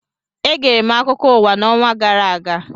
Egere m akụkọ ụwa n'ọnwa gara aga